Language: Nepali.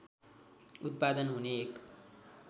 उत्पादन हुने एक